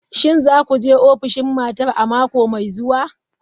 Shin za ku je ofishin matar a mako mai zuwa?